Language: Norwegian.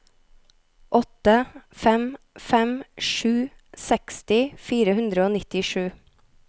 åtte fem fem sju seksti fire hundre og nittisju